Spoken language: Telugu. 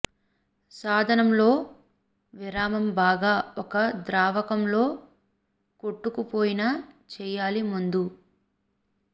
సాధనం లో విరామం బాగా ఒక ద్రావకం లో కొట్టుకుపోయిన చేయాలి ముందు